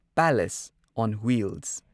palace on wheels